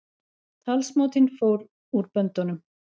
Talsmátinn fór úr böndunum